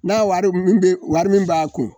N'a wari min wari min b'a kun